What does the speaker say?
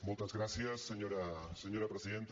moltes gràcies senyora presidenta